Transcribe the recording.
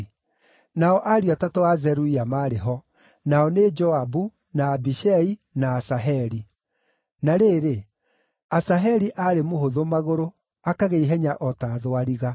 Nao ariũ atatũ a Zeruia maarĩ ho: Nao nĩ Joabu, na Abishai, na Asaheli. Na rĩrĩ, Asaheli aarĩ mũhũthũ magũrũ, akagĩa ihenya o ta thwariga.